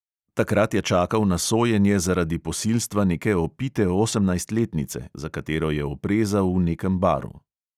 Takrat je čakal na sojenje zaradi posilstva neke opite osemnajstletnice, za katero je oprezal v nekem baru.